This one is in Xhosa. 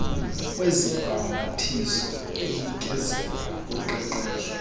kwezibhambathiso enikezela ngoqeqesho